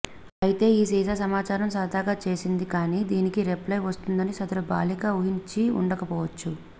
అయితే ఈ సీసా సమాచారం సరదాగా చేసింది కానీ దీనికి రిప్లై వస్తుందని సదరు బాలిక ఊహించి ఉండకపోవచ్చు